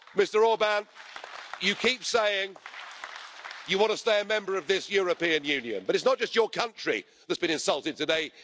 Mr Orbán, you keep saying you want to stay a member of this European Union, but it is not just your country that has been insulted today.